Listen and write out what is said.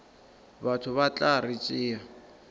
batho ba tla re tšea